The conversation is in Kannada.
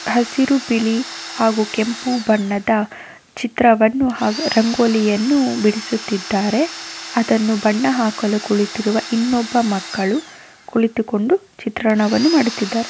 ಹಸಿರು ಬಿಳಿ ಹಾಗು ಕೆಂಪು ಬಣ್ಣದ ಚಿತ್ರದವನ್ನು ಹಾಗು ರಂಗೊಲೀಯನ್ನು ಬಿಡಿಸುತ್ತಿದ್ದಾರೆ ಅದನ್ನು ಬಣ್ಣ ಹಾಕಲು ಕುಳಿತಿರುವ ಇನ್ನೊಬ್ಬ ಮಕ್ಕಳು ಕುಳಿತುಕೊಂಡು ಚಿತ್ರಣವನ್ನು ಮಾಡುತಿದ್ದಾರೆ.